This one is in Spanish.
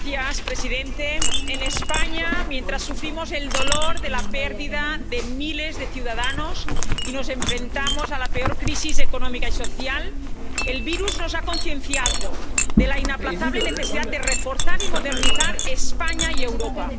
Señor presidente, en España, mientras sufrimos el dolor de la pérdida de miles de ciudadanos y nos enfrentamos a la peor crisis económica y social, el virus nos ha concienciado de la inaplazable necesidad de reforzar y modernizar España y Europa.